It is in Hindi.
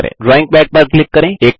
0ड्राइंग पद पर क्लिक करें